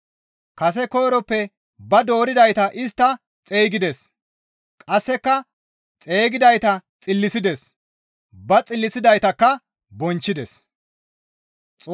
Kase koyroppe ba dooridayta istta xeygides; qasseka xeygidayta xillisides; ba xillisidaytakka bonchchides.